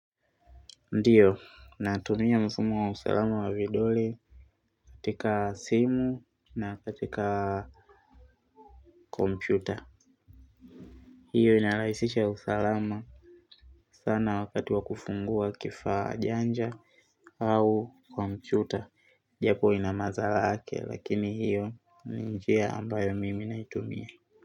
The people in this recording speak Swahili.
Ndiyo, natumia mfumo wa usalama wa vidole katika simu na katika kompyuta. Hiyo inarahisisha usalama sana wakati wa kufungua kifaa janja au kompyuta. Japo ina madhara yake lakini hiyo ni njia ambayo mimi naitumia.